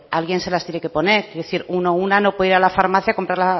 alguien se las tiene que poner quiero decir una uno no puede ir a la farmacia a comprar